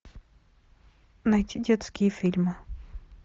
найти детские фильмы